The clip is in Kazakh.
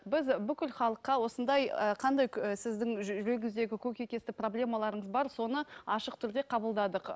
біз бүкіл халыққа осындай ы қандай сіздің жүрегіңіздегі көкейтесті проблемаларыңыз бар соны ашық түрде қабылдадық